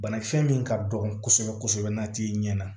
Banakisɛ min ka dɔgɔ kosɛbɛ kosɛbɛ n'a t'i ɲɛ na